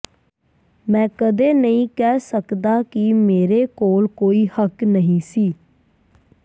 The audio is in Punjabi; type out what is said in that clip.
ਮੈਂ ਕਦੇ ਨਹੀਂ ਕਹਿ ਸਕਦਾ ਕਿ ਮੇਰੇ ਕੋਲ ਕੋਈ ਹੱਕ ਨਹੀਂ ਸੀ